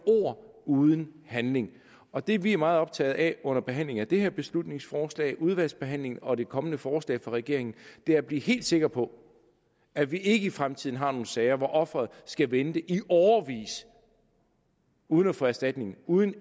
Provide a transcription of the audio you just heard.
ord uden handling og det vi er meget optaget af under behandlingen af det her beslutningsforslag udvalgsbehandlingen og det kommende forslag fra regeringen er at blive helt sikre på at vi ikke i fremtiden har nogen sager hvor offeret skal vente i årevis uden at få erstatning uden